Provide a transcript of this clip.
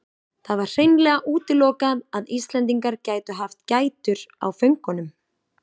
Það var hreinlega útilokað að Íslendingar gætu haft gætur á föngunum.